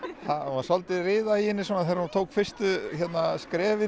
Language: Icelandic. smá riða í henni þegar hún tók fyrstu skrefin